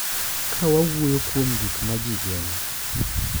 Ka wawuoyo kuom gik ma ji geno,